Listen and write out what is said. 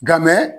Nka mɛ